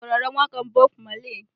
Ina sauraron waƙar Bob Marley.